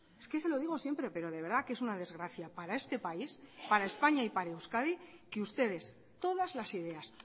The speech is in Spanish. es que se lo digo siempre pero de verdad que es una desgracia para este país para españa y para euskadi que ustedes todas las ideas